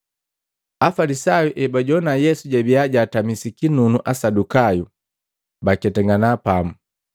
Afalisayu ebajowana Yesu jabiya jatamisi kinunu Asadukayu, baketangana pamu.